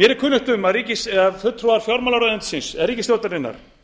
mér er kunnugt um að fulltrúar fjármálaráðuneytisins eða ríkisstjórnarinnar